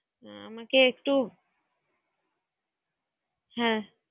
ওকে একটু, হ্যাঁ।